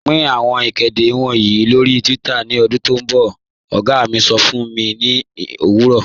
Pin awọn ikede wọǹyì lọ́ri twitter ni ohun ti ọ̀gá mi sọ̀ fun mi ni owurọ̀.